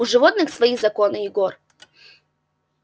у животных свои законы егор